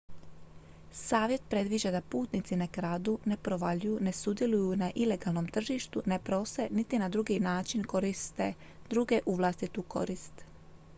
savjet predviđa da putnici ne kradu ne provaljuju ne sudjeluju na ilegalnom tržištu ne prose niti na drugi način koriste druge u vlastitu korist